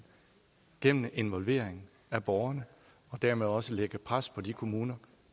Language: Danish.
gennem involvering af borgerne og dermed også lægge pres på de kommuner